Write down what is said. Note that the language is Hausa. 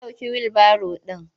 An ɗauke wilbaro ɗin.